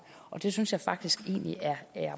og det synes jeg faktisk egentlig er